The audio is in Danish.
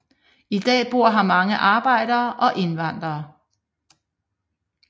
I dag bor her mange arbejdere og indvandrere